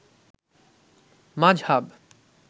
মাজহাব